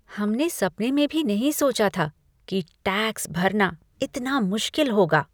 हमने सपने में भी नहीं सोचा था कि टैक्स भरना इतना मुश्किल होगा!